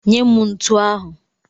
Nye m ntu ahụ!